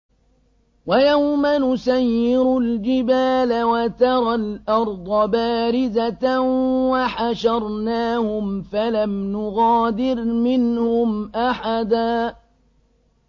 وَيَوْمَ نُسَيِّرُ الْجِبَالَ وَتَرَى الْأَرْضَ بَارِزَةً وَحَشَرْنَاهُمْ فَلَمْ نُغَادِرْ مِنْهُمْ أَحَدًا